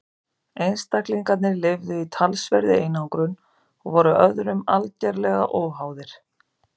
einstaklingarnir lifðu í talsverðri einangrun og voru öðrum algerlega óháðir